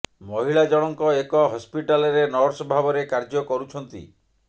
ମହିଳା ଜଣଙ୍କ ଏକ ହସ୍ପିଟାଲରେ ନର୍ସ ଭାବରେ କାର୍ଯ୍ୟ କରୁଛନ୍ତି